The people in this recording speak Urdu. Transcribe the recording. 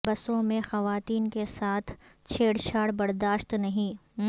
بسوں میں خواتین کے ساتھ چھیڑ چھاڑ برداشت نہیں